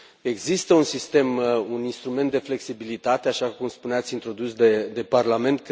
Există un sistem, un instrument de flexibilitate, așa cum spuneați, introdus de Parlament.